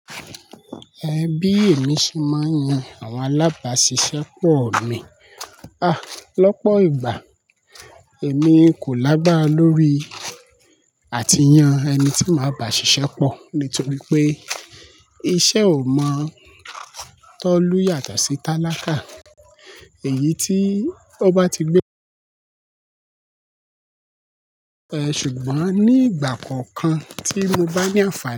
Ẹhn bí emi se máa ń yan àwọn alábàáṣiṣẹ́ pọ̀ mi. Ah! Lọ́pọ̀ ìgbà, èmi kò lágbára lórí àtiyan ẹni tí màá bá ṣiṣẹ́ pọ̀ nítorí pé iṣẹ́ ò mọ̀ tó lù yàtọ̀ sí tálákà èyí tí ó bá ti gbé. Ẹ̀ ṣùgbọ́n ní ìgbà kọ̀ọ̀kan tí mo bá ní ànfàni.